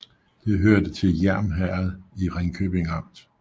Det hørte til Hjerm Herred i Ringkøbing Amt